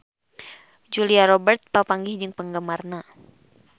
Julia Robert papanggih jeung penggemarna